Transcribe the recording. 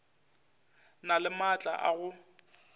na le maatla a go